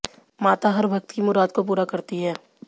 माता हर भक्त की मुराद को पूरा करती हैं